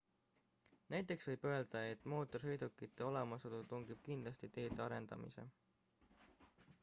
näiteks võib öelda et mootorsõidukite olemasolu tingib kindlasti teede arendamise